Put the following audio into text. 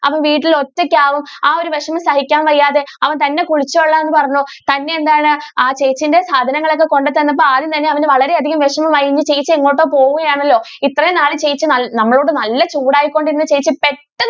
അവൻ വീട്ടിൽ ഒറ്റയ്ക്ക് ആകും ആ ഒരു വിഷമം സഹിക്കാൻ വയ്യാതെ അവൻ തന്നെ കുളിച്ചോളാം എന്ന് പറഞ്ഞു. തന്നെ എന്താണ് ആ ചേച്ചിന്റെ സാധനങ്ങൾ ഒക്കെ കൊണ്ട തന്നപ്പോൾ ആദ്യം തന്നെ അവനു വളരെ അധികം വിഷമം ആയി. ഇനി ചേച്ചി എങ്ങോട്ടോ പോകുകയാണെല്ലോ ഇത്രെയും നാളും ചേച്ചി ഞ~ഞങ്ങളോട് നല്ല ചൂടായികൊണ്ടിരുന്ന ചേച്ചി പെട്ടെന്നു